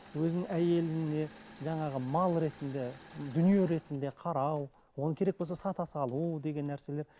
өзінің әйеліне жаңағы мал ретінде дүние ретінде қарау оны керек болса сата салу деген нәрселер